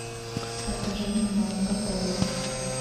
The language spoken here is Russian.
покажи мне марка поло